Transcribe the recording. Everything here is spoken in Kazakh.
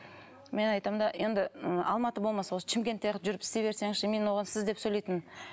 мен айтамын да енді м алматы болмаса осы шымкентте ақ жүріп істей берсеңізші мен оған сіз деп сөйлейтінмін